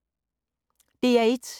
DR1